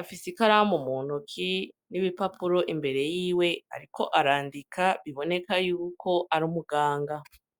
afise ikaramu muntoki n'ibipapuro imbere yiwe, ariko arandika biboneka yuko ari umuganga.